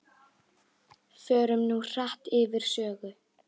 Förum nú hratt yfir sögu.